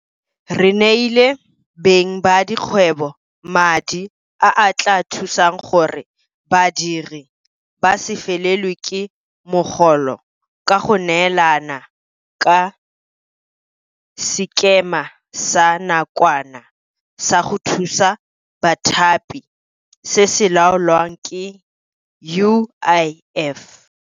Re neile beng ba dikgwebo madi a a tla thusang gore badiri ba se felelwe ke mogolo ka go neelana ka Sekema sa Nakwana sa go Thusa Bathapi se se laolwang ke UIF.